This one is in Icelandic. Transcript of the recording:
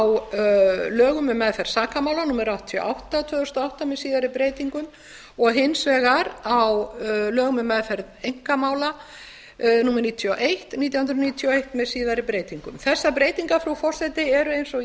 á lögum um meðferð sakamála númer áttatíu og átta tvö þúsund og átta með síðari breytingum og hins vegar á lögum um meðferð einkamála númer níutíu og eitt nítján hundruð níutíu og eitt með síðari breytingum þessar breytingar frú forseti eru eins og